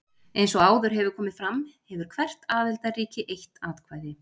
eins og áður hefur komið fram hefur hvert aðildarríki eitt atkvæði